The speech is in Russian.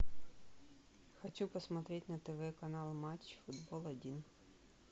хочу посмотреть на тв канал матч футбол один